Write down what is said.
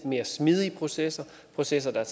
mere smidige processer processer der